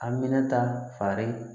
Aminata fari